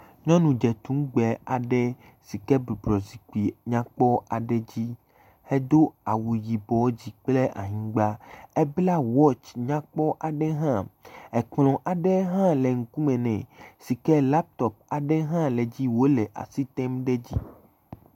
Nyɔnu dze tuŋgbe aɖe si ke bɔbɔnɔ zikpui nyakpɔ aɖe dzi hedo awu yibɔ dzi kple anyigba, ebla wɔtsi nyakpɔ aɖe hã, ekplɔ aɖe hã le ŋkume si ke laptop aɖe hã le edzi wòle asi tem ɖe edzi